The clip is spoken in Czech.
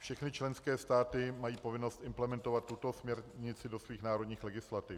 Všechny členské státy mají povinnost implementovat tuto směrnici do svých národních legislativ.